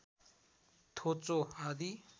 थोचो आदि